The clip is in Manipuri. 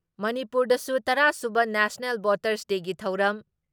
ꯃꯅꯤꯄꯨꯔꯗꯁꯨ ꯇꯔꯥ ꯁꯨꯕ ꯅꯦꯁꯅꯦꯜ ꯚꯣꯠꯇꯔꯁ ꯗꯦꯒꯤ ꯊꯧꯔꯝ